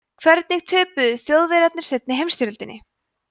hvernig töpuðu þjóðverjar seinni heimsstyrjöldinni